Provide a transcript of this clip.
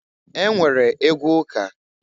E nwere egwu ụka.